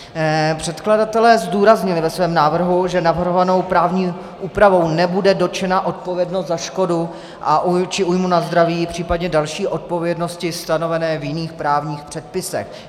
Předkladatelé zdůraznili ve svém návrhu, že navrhovanou právní úpravou nebude dotčena odpovědnost za škodu či újmu na zdraví, případně další odpovědnosti stanovené v jiných právních předpisech.